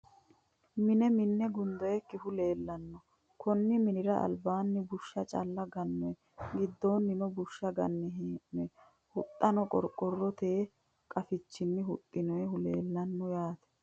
Mine minne gundoyiikkihu leellanno. Konni mannira albaanni bushsha calla gannoyi. Giddoonnino bushsha ganne hee'noyi. Huxxano qorqorote qaafichini huxxinoyihu leellanno yaate.